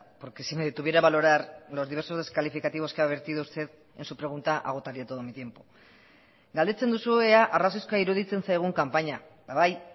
porque si me detuviera a valorar los diversos descalificativos que ha vertido usted en su pregunta agotaría todo mi tiempo galdetzen duzu ea arrazoizkoa iruditzen zaigun kanpaina ba bai